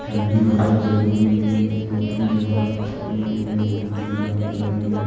ठंडी हवा जरूरी है क्योंकि यहां अपने लिए बहुत ही लाभदायी है।